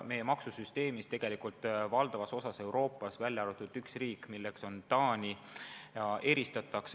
Selline maksusüsteem on tegelikult valdavas osas Euroopas, välja arvatud üks riik, milleks on Taani.